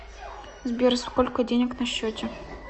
сбер сколько денег на счете